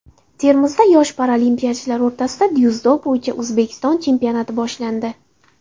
Termizda yosh paralimpiyachilar o‘rtasida dzyudo bo‘yicha O‘zbekiston chempionati boshlandi.